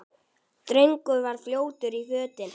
Drengur var fljótur í fötin.